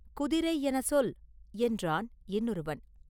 குதிரை என சொல்!” என்றான் இன்னொருவன்.